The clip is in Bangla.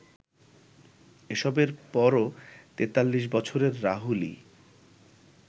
এসবের পরও ৪৩ বছরের রাহুলই